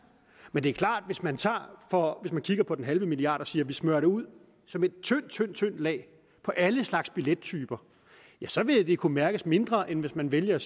men det er klart at hvis man tager og kigger på den halve milliard og siger at vi smører det ud som et tyndt tyndt lag på alle slags billettyper ja så vil det kunne mærkes mindre end hvis man vælger at